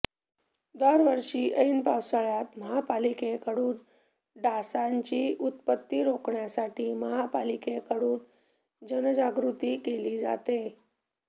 दरवर्षी एन पावसाळ्यात महापालिकेकडून डासांची उत्पती रोखण्यासाठी महापालिकेकडून जनजागृती केली जाते